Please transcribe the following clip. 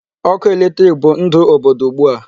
Ọkụ electric bụ ndụ obodo ugbu a.